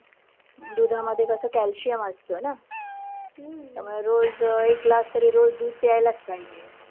दुधामध्ये कसं calcium असत ना. त्यामुळे रोज एक glass तरी रोज दूध प्यायलाच पाहिजे.